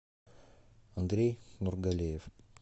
андрей нургалиев